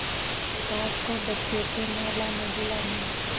सास को बच्चे के नहलानेधुलाने